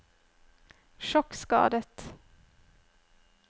sjokkskadet